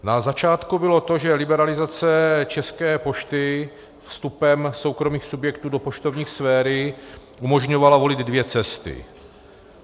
Na začátku bylo to, že liberalizace České pošty vstupem soukromých subjektů do poštovní sféry umožňovala volit dvě cesty.